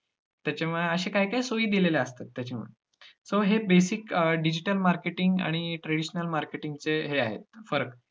त्याच्यामध्ये अश्या काही काही सोयी दिलेल्या असतात त्याच्यामध्ये so हे basic digital marketing आणि traditional marketing चे हे आहेत फरक.